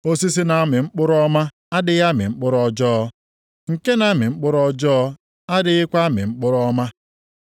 Osisi na-amị mkpụrụ ọma adịghị amị mkpụrụ ọjọọ. Nke na-amị mkpụrụ ọjọọ adịghịkwa amị mkpụrụ ọma.